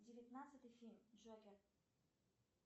девятнадцатый фильм джокер